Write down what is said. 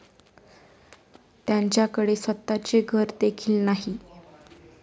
त्यांच्याकडे स्वतःचे घर देखील नाही.